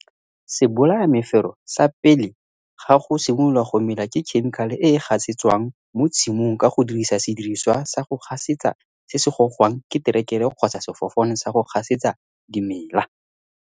Sebolayamefero sa pele ga go simolola go mela ke khemikale e e gasetswang mo tshimong ka go dirisa sediriswa sa go gasetsa se se gogwang ke terekere kgotsa sefofane sa go gasetsa dimela.